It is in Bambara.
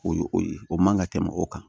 O ye o ye o man ka tɛmɛ o kan